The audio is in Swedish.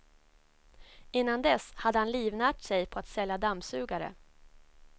Innan dess hade han livnärt sig på att sälja dammsugare.